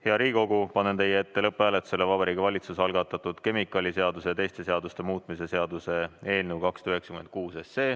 Hea Riigikogu, panen teie ette lõpphääletusele Vabariigi Valitsuse algatatud kemikaaliseaduse ja teiste seaduste muutmise seaduse eelnõu 296.